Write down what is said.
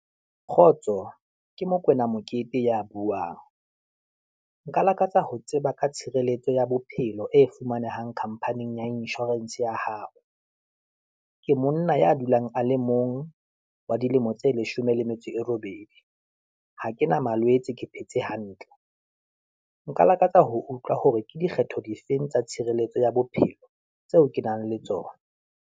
Kgotso ke Mokwena Mokete ya buang, nka lakatsa ho tseba ka tshireletso ya bophelo e fumanehang khampaning ya inshorense ya hao, ke monna ya dulang a leng mong, wa dilemo tse leshome le metso e robedi. Ha ke na malwetse, ke phetse hantle. Nka lakatsa ho utlwa hore ke dikgetho difeng tsa tshireletso ya bophelo, tseo ke nang le tsona.